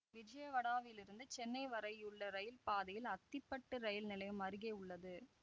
விஜயவாடாவிலிருந்து சென்னை வரையுள்ள இரயில் பாதையில் அத்திப்பட்டு இரயில் நிலையம் அருகே உள்ளது